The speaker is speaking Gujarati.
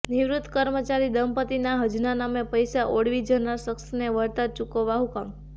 નિવૃત કર્મચારી દંપતીના હજના નામે પૈસા ઓળવી જનાર શખ્સને વળતર ચુકવવા હુકમ